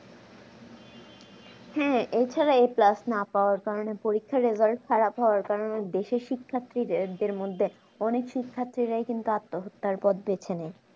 হুম এছাড়াও class না করার কারণে পরীক্ষার result খারাপ হওয়ার কারণে দেশে শিক্ষার্থীদের মধ্যে অনেক শিক্ষার্থীরাই কিন্তু আত্মহত্যার পথ বেছে নেই